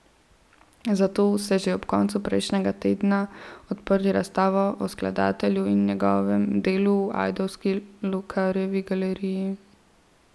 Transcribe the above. Zato so že ob koncu prejšnjega tedna odprli razstavo o skladatelju in njegovem delu v ajdovski Lokarjevi galeriji.